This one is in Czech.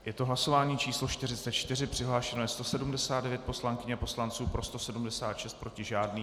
Je to hlasování číslo 44, přihlášeno je 179 poslankyň a poslanců, pro 176, proti žádný.